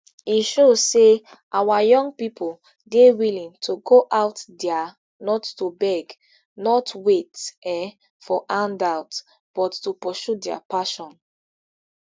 e show say our young pipo dey willing to go out dia not to beg not wait um for handouts but to pursue dia passions